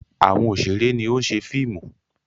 Àwọn òṣèré ni ó ń ṣe fíìmù.